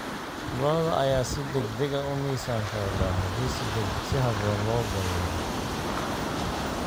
Lo'da lo'da ayaa si degdeg ah u miisaan korodha haddii si habboon loo daryeelo.